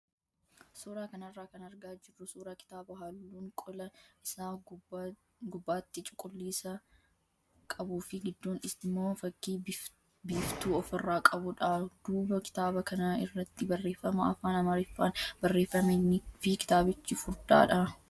Suuraa kanarraa kan argaa jirru suuraa kitaaba halluun qola isaa gubbaatti cuquliisa qabuu fi gidduun immoo fakkii biiftuu ofirraa qabudha. Duuba kitaaba kanaa irratti barreeffama afaan amaariffaan barreeffamee fi kitaabichi furdaadha.